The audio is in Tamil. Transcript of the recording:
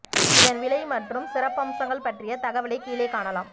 இதன் விலை மற்றும் சிறப்பம்சங்கள் பற்றிய தகவலைக் கீழே காணலாம்